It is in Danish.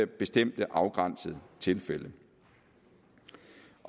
bestemte afgrænsede tilfælde